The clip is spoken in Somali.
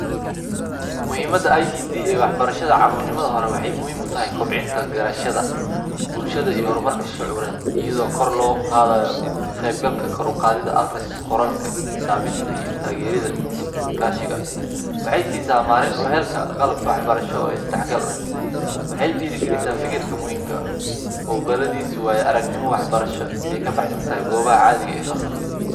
Muhiimadha ICT ee waxbarashadha caruurnimadha hore waxey muhiim utahay kobcinta garashadha bulshadha iyo hormarka shucuured iyadho kor loqadhayo kaqeeyb galka kor uqaadhidha aqriska qoraalka iyo xisaabinta iyo taageridha iskaashiga waxey siisa maalin uheelka qalabka waxbarasho oo isdaxgal ah waxey dhiiri galisa fikirka muhiim ka ah muqaaladhisu waayo aragnimo wax barasho oy kabaxsantahay goobaha wax barasho ee fasalka